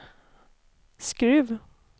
Skruv